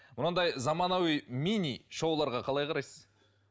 мынандай заманауи мини шоуларға қалай қарайсыз